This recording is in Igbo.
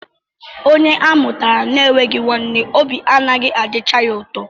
Onye a mụtara enweghị nwanne, obi anaghị adịcha ya ụtọ